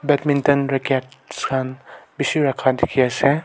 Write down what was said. badminton rackets khan bishi rakha dikhi ase.